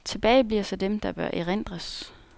Tilbage bliver så dem, der bør erindres.